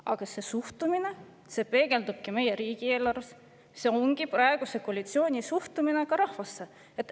Aga see suhtumine peegeldubki meie riigieelarves, see ongi praeguse koalitsiooni suhtumine rahvasse.